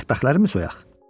Mətbəxlərimi soyaq?